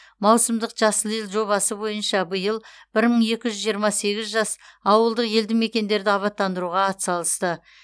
маусымдық жасыл ел жобасы бойынша биыл бір мың екі жүз жиырма сегіз жас ауылдық елді мекендерді абаттандыруға атсалысты